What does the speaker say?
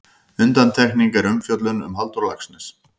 Undantekning er umfjöllun um Halldór Laxness.